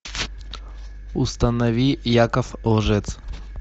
установи яков лжец